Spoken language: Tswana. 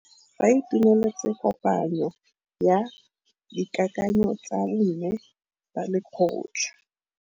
Ba itumeletse kôpanyo ya dikakanyô tsa bo mme ba lekgotla.